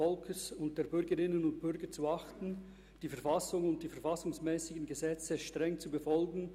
Alle anwesenden Personen im Saal und auf den Tribünen bitte ich, sich zu erheben.